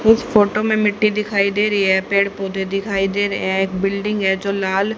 इस फोटो में मिट्टी दिखाई दे रही है पेड़ पौधे दिखाई दे रहे हैं एक बिल्डिंग है जो लाल --